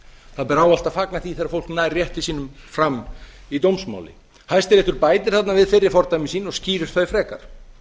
það ber ávallt að fagna því þegar fólk nær rétti sínum fram í dómsmáli hæstiréttur bætir þarna við fyrri fordæmi sín og skýrir þau frekar